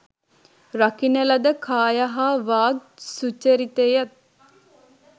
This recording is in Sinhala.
රකින ලද කාය හා වාග් සුචරිතයත්